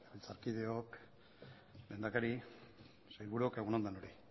legebiltzarkideok lehendakari sailburuok egun on denoi